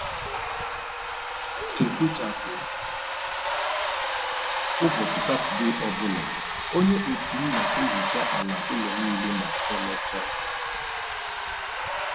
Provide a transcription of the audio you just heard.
M M n'ekpochapụ ụbọchị Satọde ọ bụla, onye otu m n'ehecha ala ụlọ niile ma emechaa.